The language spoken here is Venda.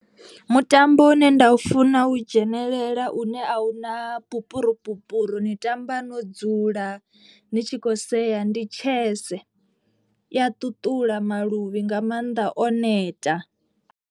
Mutambo une nda u funa u dzhenelela une a huna pupurupupuru ni tamba no dzula ni tshi khou sea ndi tshese. I ya ṱuṱula maluvhi nga mannḓa o neta.